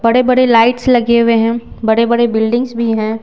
बड़े-बड़े लाइट्स लगे हुए हैं बड़े-बड़े बिल्डिंग्स भी हैं।